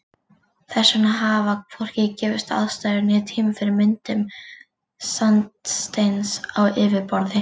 Þess vegna hafa hvorki gefist aðstæður né tími fyrir myndun sandsteins á yfirborði.